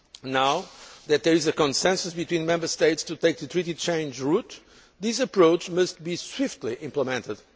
Now that there is a consensus between the Member States to take the treaty change route, this approach must be swiftly implemented.